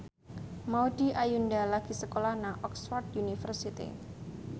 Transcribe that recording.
Maudy Ayunda lagi sekolah nang Oxford university